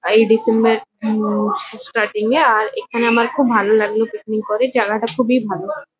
আর এই ডিসেম্বর -এর um starting -এ আর এখানে আমার খুব ভালো লাগলো পিকনিক করে। জাগাটা খুবই ভালো।